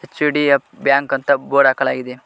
ಸಿಡಿಯ ಬ್ಯಾಂಕ್ ಅಂತ ಬೋರ್ಡ್ ಹಾಕಲಾಗಿದೆ.